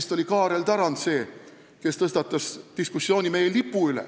See oli vist Kaarel Tarand, kes selle diskussiooni tõstatas.